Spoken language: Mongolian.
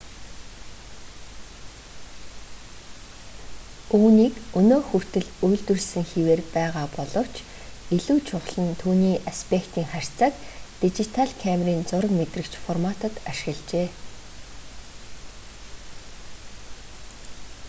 үүнийг өнөө хүртэл үйлдвэрлэсэн хэвээр байгаа боловч илүү чухал нь түүний аспектийн харьцааг дижитал камерын зураг мэдрэгч форматад ашиглажээ